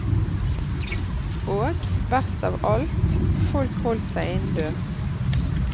Og, best av alt, folk holdt seg innendørs.